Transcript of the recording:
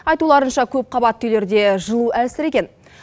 айтуларынша көпқабатты үйлерде жылу әлсіреген